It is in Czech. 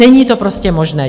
Není to prostě možné.